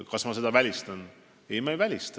Kas ma välistan seda?